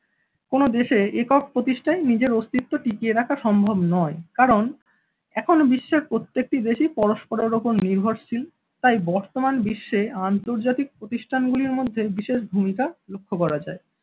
কোন দেশে একক প্রতিষ্ঠাই নিজের অস্তিত্ব টিকিয়ে রাখা সম্ভব নয়, কারণ এখন বিশ্বের প্রত্যেকটি দেশি পরস্পরের ওপর নির্ভরশীল তাই বর্তমান বিশ্বে আন্তর্জাতিক প্রতিষ্ঠানগুলির মধ্যে বিশেষ ভূমিকা লক্ষ্য করা যায়।